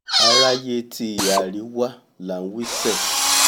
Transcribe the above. aráyé ti ìhà àríwá là ń wí sẹ́ẹ̀